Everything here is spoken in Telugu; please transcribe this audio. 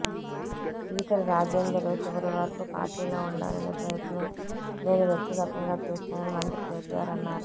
ఈటెల రాజేందర్ చివరి వరకు పార్టీలో ఉండాలని ప్రయత్నం నేను వ్యక్తిగతంగా చేశానని మంత్రి కేటీఆర్ అన్నారు